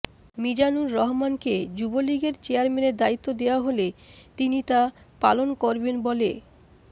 মীজানুর রহমানকে যুবলীগের চেয়ারম্যানের দায়িত্ব দেওয়া হলে তিনি তা পালন করবেন বলে